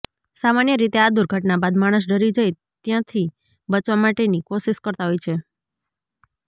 સામાન્ય રીતે આ દુર્ઘટના બાદ માણસ ડરી જઈ ત્યથી બચવા માટેની કોશિશ કરતા હોય છે